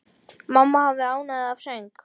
Mamma hafði ánægju af söng.